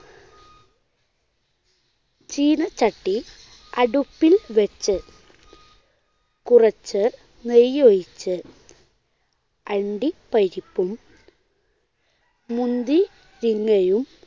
ചീനച്ചട്ടി അടുപ്പിൽ വെച്ച് കുറച്ച് നെയ്യൊഴിച്ച് അണ്ടിപ്പരിപ്പും മുന്തിരിങ്ങയും